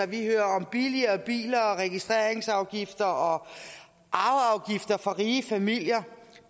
vi hører om billigere biler og registreringsafgifter og arveafgifter for rige familier